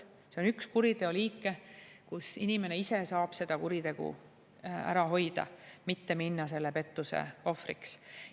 See on üks kuriteoliike, kus inimene ise saab kuritegu ära hoida – mitte minna selle pettuse ohvriks.